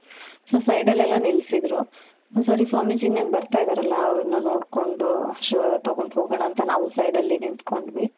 so side ಅಲ್ಲಿ ಎಲ್ಲಾ ನಿಲ್ಸಿದ್ರು. ಸರಿ ಸ್ವಾಮೀಜಿ ಇನ್ನೇನ್ ಬರ್ತ ಇದರಲ ಅವ್ರ್ನ ನೋಡ್ಕೊಂಡು ಆಶೀರ್ವಾದ ತಗೊಂಡು ಹೋಗಣ ಅಂತ ನಾವು side ಅಲ್ಲಿ ನಿಂತ್ಕೊಂಡ್ವಿ .